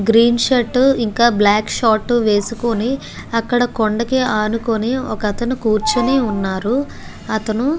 green shirt ఇంకా black short వేసుకొని అక్కడ కొండకి అనుకోని ఒక అతను కూర్చొని వున్నారు అతను --